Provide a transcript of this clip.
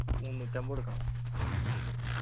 മുന്നൂറ്റമ്പത് കൊടുക്കണം